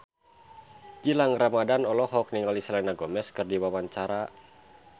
Gilang Ramadan olohok ningali Selena Gomez keur diwawancara